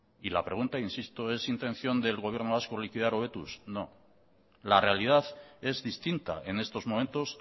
y la pregunta insisto es intención del gobierno vasco liquidar hobetuz no la realidad es distinta en estos momentos